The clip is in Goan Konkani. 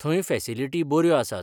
थंय फॅसिलिटी बऱ्यो आसात.